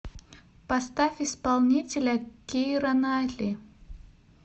поставь исполнителя кира найтли